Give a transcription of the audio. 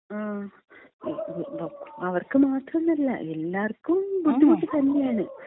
അവർക്ക് മാത്രോന്നല്ല എല്ലാർക്കും ബുദ്ധിമുട്ട് തന്നെയാണ്.